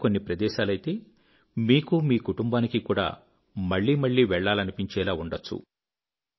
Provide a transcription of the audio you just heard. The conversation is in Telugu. పైగా కొన్ని ప్రదేశాలైతే మీకూ మీ కుటుంబానికీ కూడా మళ్ళీ మళ్ళీ వెళ్ళాలనిపించేలా ఉండొచ్చు